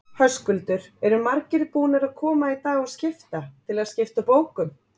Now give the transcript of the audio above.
Höskuldur: Eru margir búnir að koma í dag og skipta, til að skipta bókum?